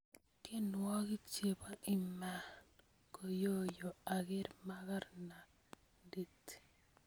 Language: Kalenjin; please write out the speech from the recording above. tienwokik chepo imankoyoyo aker makarnandit